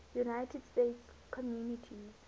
united states communities